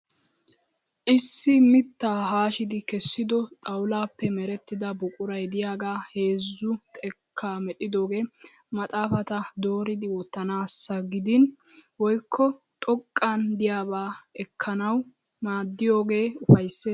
Issi mittaa haashidi kessido xawulaappe merettida buquray diyagaa heezzu xekkaa medhdhidoogee maxaafata dooridi wottanaassa gidin woyikko xoqqan diyaabaa ekkanaw maaddiyogee ufayisses.